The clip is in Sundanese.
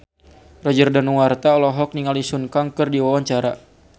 Roger Danuarta olohok ningali Sun Kang keur diwawancara